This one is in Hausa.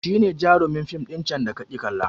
Shi ne jarumin fim ɗin can da kaƙi kalla